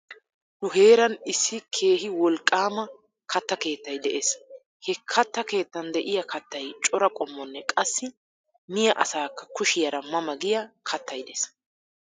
Nu heeran issi keehi wolqqaama katta keettay de'ees. He katta keettan de'iya kattayi cora qoommonne qassi miya asaakka kushiyara ma ma giya kattay de'ees.